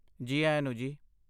ਜੀ ਆਇਆਂ ਨੂੰ ਜੀ।